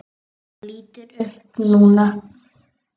Hann lítur upp núna.